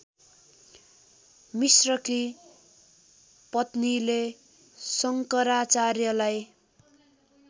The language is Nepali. मिश्रकी पत्नीले शङ्कराचार्यलाई